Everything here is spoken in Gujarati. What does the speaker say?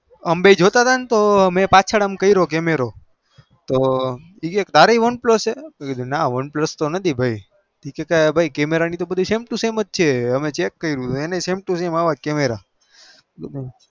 અમે જોતા તા તો કે તારે one plus છે cmaro બધું sem to sem છે ચેક કર્યું